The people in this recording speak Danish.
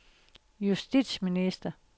justitsminister